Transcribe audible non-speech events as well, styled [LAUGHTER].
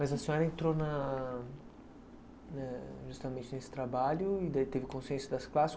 Mas a senhora entrou na [UNINTELLIGIBLE] justamente nesse trabalho e daí teve consciência das classes.